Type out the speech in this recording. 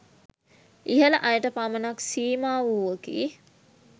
ඉහල අයට පමණක් සීමා වූවකි